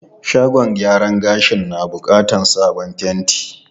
Shagon gyaran gashin na bukatar sabon fenti.